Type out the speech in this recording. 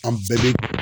An bɛɛ bɛ